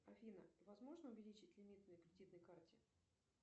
афина возможно увеличить лимит на кредитной карте